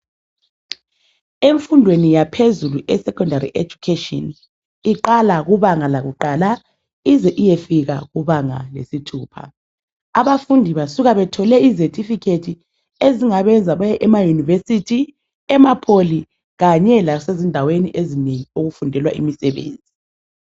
Emfundweni yaphezulu, isekhondari ejukheshini, iqala kubanga lakuqala ize iyefika kubanga lesithupha. Abafundi basuka bethole ezethifikhethi ezingabenza baye emayunivesithi, ema pholi kanye lasezindaweni ezinengi okufundelwa khona imsebenzi.